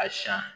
A siɲɛ